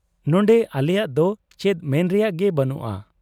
ᱱᱚᱱᱰᱮ ᱟᱞᱮᱭᱟᱜ ᱫᱚ ᱪᱮᱫ ᱢᱮᱱ ᱨᱮᱭᱟᱜ ᱜᱮ ᱵᱟᱹᱱᱩᱜ ᱟ ᱾